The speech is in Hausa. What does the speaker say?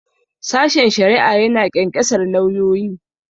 Sashen shari'a ya na ƙyanƙyasar lauyoyi.